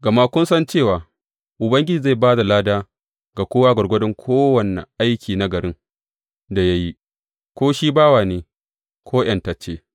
Gama kun san cewa Ubangiji zai ba da lada ga kowa gwargwadon kowane aiki nagarin da ya yi, ko shi bawa ne, ko ’yantacce.